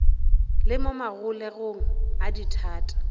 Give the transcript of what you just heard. le mo magologelong a dithata